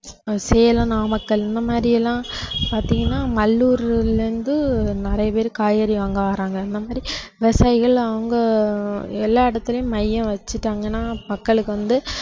சேலம், நாமக்கல் இந்த மாதிரி எல்லாம் பார்த்தீங்கன்னா மல்லூர்ல இருந்து நிறைய பேர் காய்கறி வாங்க வர்றாங்க அந்த மாதிரி விவசாயிகள் அவங்க எல்லா இடத்திலும் மையம் வச்சுட்டாங்கன்னா மக்களுக்கு வந்து